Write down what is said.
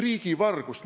Riigivargust!